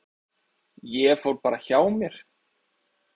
Ég fór bara hjá mér.